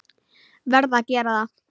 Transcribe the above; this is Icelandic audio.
Verð að gera það.